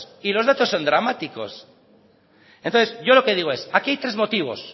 y los datos son dramáticos entonces yo lo que digo es aquí hay tres motivos